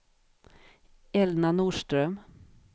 Elna Norström